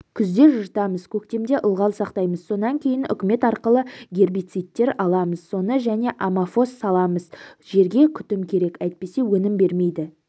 күзде жыртамыз көктемде ылғал сақтаймыз сонан кейін үкімет арқылы гербицидтер аламыз соны және амафос саламыз жерге күтім керек әйтпесе өнім бермейді